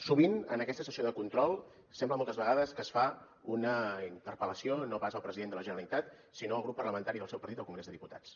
sovint en aquesta sessió de control sembla moltes vegades que es fa una interpel·lació no pas al president de la generalitat sinó al grup parlamentari del seu partit al congrés dels diputats